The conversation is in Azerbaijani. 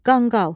Qanqal.